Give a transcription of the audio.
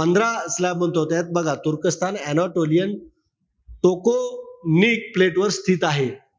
पंधरा slabs होत्या. बघा तुर्कस्तान anatolian toconic plate वर स्थित आहे.